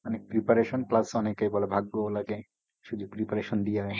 অনেক preparation plus অনেকেই বলে ভাগ্যও লাগে। শুধু preparation দিয়ে হয় না।